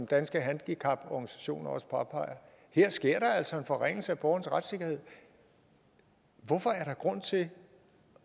danske handicaporganisationer påpeger at her sker der altså en forringelse af borgerens retssikkerhed hvorfor er der grund til